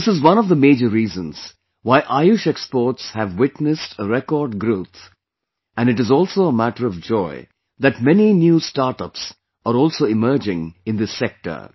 This is one of the major reasons why Ayush Exports have witnessed a record growth and it is also a matter of joy that many new startups are also emerging in this sector